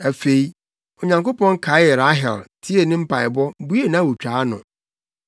Afei, Onyankopɔn kaee Rahel, tiee ne mpaebɔ, buee nʼawotwaa ano.